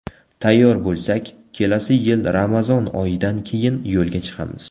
Tayyor bo‘lsak, kelasi yil Ramazon oyidan keyin yo‘lga chiqamiz.